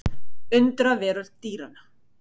Undraveröld dýranna.